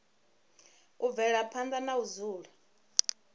u bvela phanda na dzula